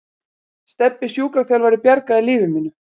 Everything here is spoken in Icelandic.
Stebbi sjúkraþjálfari bjargaði lífi mínu.